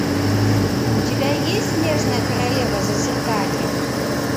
у тебя есть снежная королева зазеркалье